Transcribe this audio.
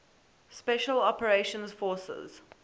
special operations forces